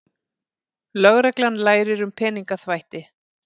Lögreglan lærir um peningaþvætti